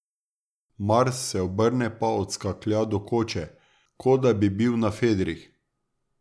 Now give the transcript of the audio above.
Mars se obrne pa odskaklja do koče, ko da bi bil na fedrih.